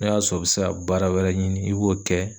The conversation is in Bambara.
N'a y'a sɔrɔ i be se ka baara wɛrɛ ɲini ,i b'o kɛ